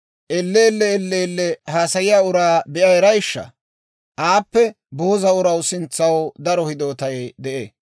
Elleellee elleellee haasayiyaa uraa be'a erayishsha? Aappe booza uraw sintsanaw daro hidootay de'ee.